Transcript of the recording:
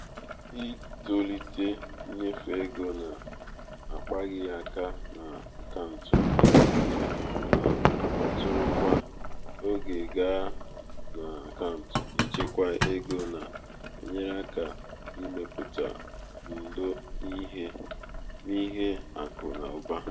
ịtọlite ịnyefe ego na-akpaghị aka n’akaụntụ ego na-akpọtụrụ kwa um oge gaa na akaụntụ ịchekwa ego na-enyere aka ịmepụta ndò n’ihe akụ na ụba.